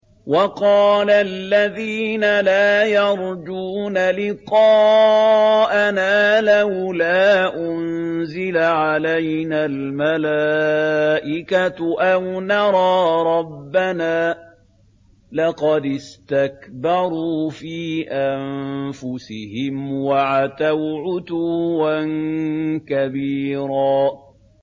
۞ وَقَالَ الَّذِينَ لَا يَرْجُونَ لِقَاءَنَا لَوْلَا أُنزِلَ عَلَيْنَا الْمَلَائِكَةُ أَوْ نَرَىٰ رَبَّنَا ۗ لَقَدِ اسْتَكْبَرُوا فِي أَنفُسِهِمْ وَعَتَوْا عُتُوًّا كَبِيرًا